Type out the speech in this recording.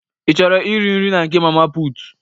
Ị chọrọ iri nri na nke mama pụtụ?